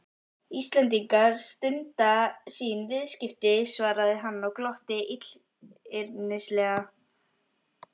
Íslendingar stunda sín viðskipti, svaraði hann og glotti illyrmislega.